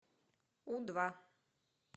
у два